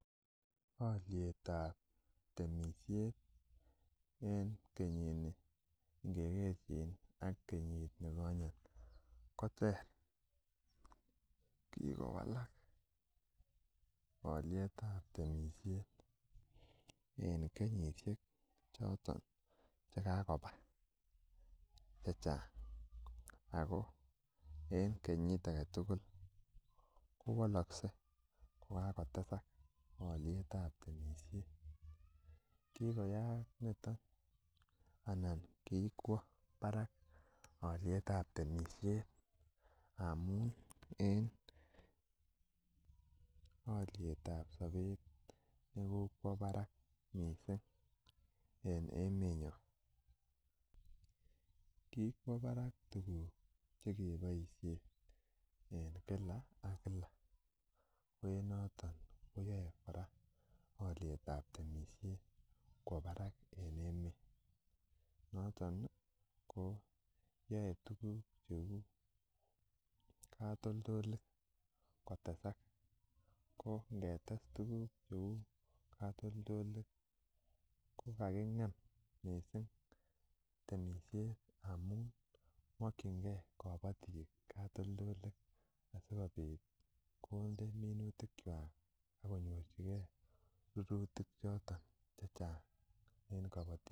Olietab temisiet en kenyit ni ngekerchin ak kenyit nikonyet koter, kikowalak oliet ab temisiet en kenyisiek choton chekikobata chechang ako en kenyit aketugul kowolokse kokakotesak olietab temisiet kikoyaak niton ana kikwo barak olietab temisiet amun en olietab sobet ne kokwo barak missing en emenyon. Kikwo barak tuguk chekeboisien en kila ak kila ko en noton koyoe kora olietab temisiet kwo barak en emet noton ko yoe tuguk cheu katoltolik kotesak ko ngetes tuguk cheu katoltolik kokakingem missing temisiet amun mokyingee kobotik katoltolik asikobit konde minutik kwak akonyorchigee rurutik choton chechang en kobotisiet